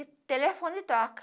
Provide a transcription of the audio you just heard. E telefone toca.